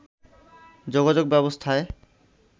যোগাযোগ ব্যবস্থায়